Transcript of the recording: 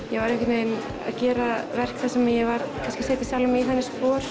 ég var einhvern veginn að gera verk þar sem ég var kannski að setja sjalfa mig í þannig spor